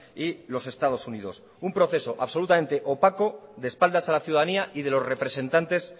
y los estados unidos un proceso absolutamente opaco de espaldas a la ciudadanía y de los representantes